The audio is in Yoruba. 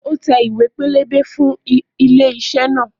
Ó tẹ ìwé pélébé tuntun fún ilé iṣẹ́ náà